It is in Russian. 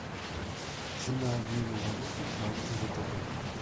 цена обмена валюты в банке втб